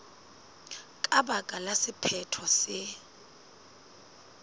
ka baka la sephetho se